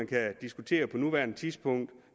kan diskutere på nuværende tidspunkt